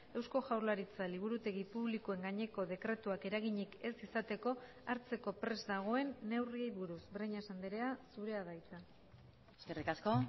eusko jaurlaritza liburutegi publikoen gaineko dekretuak eraginik ez izateko hartzeko prest dagoen neurriei buruz breñas andrea zurea da hitza eskerrik asko